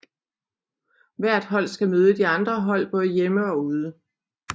Hvert hold skal møde de andre hold både hjemme og ude